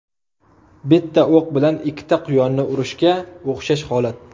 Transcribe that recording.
Bitta o‘q bilan ikkita quyonni urishga o‘xshash holat.